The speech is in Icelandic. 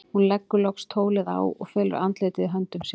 Hún leggur loks tólið á og felur andlitið í höndum sér.